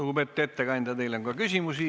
Lugupeetud ettekandja, teile on ka küsimusi.